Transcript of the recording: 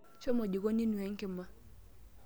Shomo jikoni inuaa enkima.